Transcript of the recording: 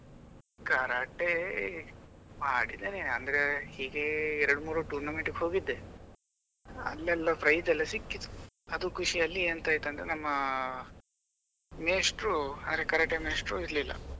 Karate ಮಾಡಿದ್ದೇನೆ ಅಂದ್ರೆ ಹೀಗೆ ಒಂದು ಎರಡ್ ಮೂರು tournament ಗೆ ಹೋಗಿದ್ದೆ ಅಲ್ಲೆಲ್ಲ prize ಎಲ್ಲ ಸಿಕ್ಕಿತು ಹ್ಮ್ ಅದು ಖುಷಿಯಲ್ಲಿ ಎಂತ ಆಯ್ತು ಅಂದ್ರೆ ನಮ್ಮ ಮೇಷ್ಟ್ರು ಅಂದ್ರೆ ಕರಾಟೆ ಮೇಷ್ಟ್ರು ಇರ್ಲಿಲ್ಲ.